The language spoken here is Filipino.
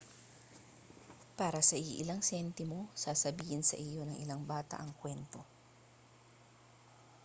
para sa iilang sentimo sasabihin sa iyo ng ilang bata ang kwento